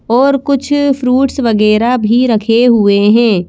और कुछ फ्रूट्स वगैरा भी रखे हुए हैं।